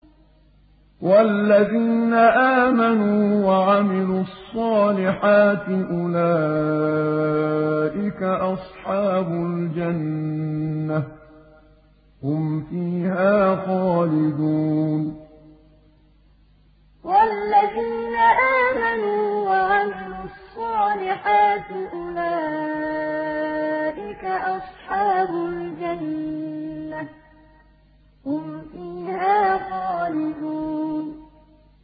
وَالَّذِينَ آمَنُوا وَعَمِلُوا الصَّالِحَاتِ أُولَٰئِكَ أَصْحَابُ الْجَنَّةِ ۖ هُمْ فِيهَا خَالِدُونَ وَالَّذِينَ آمَنُوا وَعَمِلُوا الصَّالِحَاتِ أُولَٰئِكَ أَصْحَابُ الْجَنَّةِ ۖ هُمْ فِيهَا خَالِدُونَ